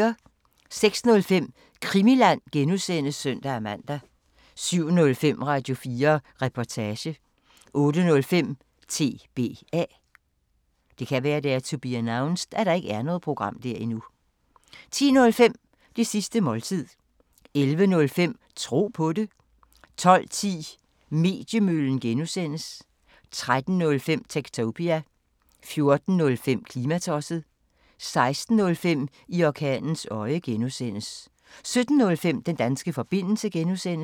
06:05: Krimiland (G) (søn-man) 07:05: Radio4 Reportage 08:05: TBA 10:05: Det sidste måltid 11:05: Tro på det 12:10: Mediemøllen (G) 13:05: Techtopia 14:05: Klimatosset 16:05: I orkanens øje (G) 17:05: Den danske forbindelse (G)